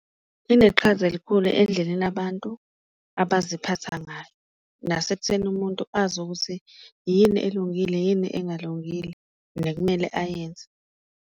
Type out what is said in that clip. Ineqhaza elikhulu endleleni abantu abaziphatha ngayo nasekutheni umuntu azi ukuthi yini elungile, yini engalungile nekumele ayenze.